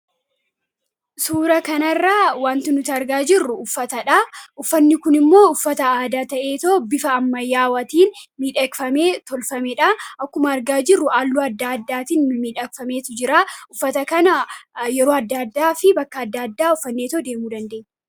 suura kana irraa waanti nuti argaa jirru uffatadha. uffanni kun immoo uffata aada ta'eetoo bifa anmayyaawaatiin midhekfamee tolfamee dha. akkuma argaa jirru halluu adda addaatiin miidhakfameeti jira. uffata kana yeroo adda addaa fi bakka adda addaa uffannee deemuu dandeenya.